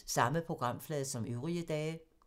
Samme programflade som øvrige dage